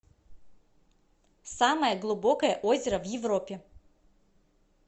самое глубокое озеро в европе